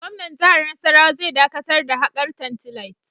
Gwamnan jihar Nasarawa zai dakatar da hakar tantalite.